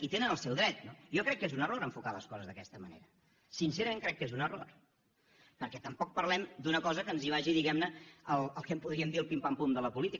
hi tenen el seu dret no jo crec que és un error enfocar les coses d’aquesta manera sincerament crec que és un error perquè tampoc parlem d’una cosa que ens hi vagi diguem ne el que en podríem dir el pim pam pum de la política